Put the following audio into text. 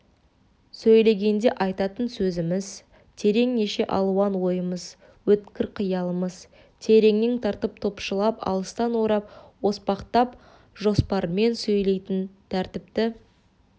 сөйлегенде айтатын сөзіміз терең неше алуан ойымыз өткір қиялымыз тереңнен тартып топшылап алыстан орап оспақтап жоспармен сөйлейтін тәртіпті